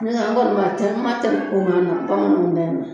Ne kɔni n kɔni m'a tɛ m'a tɛmɛ bamananw ta in na